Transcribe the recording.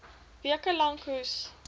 weke lank hoes